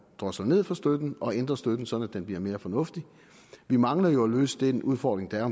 drosles ned for støtten og ændrer støtten så den bliver mere fornuftig vi mangler jo at løse den udfordring der er